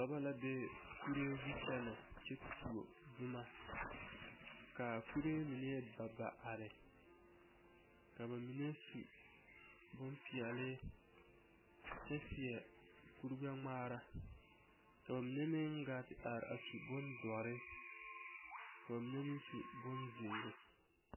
Dɔbɔ la be kuree zu kyɛnɛ kyɛ tuo boma ka kuree mine ba ba are ka ba mine su boŋ peɛle kyɛ seɛ kuri gbɛŋmaara ka ba mine meŋ kaa te are su boŋ dɔre k'o mine meŋ su boŋ zeere.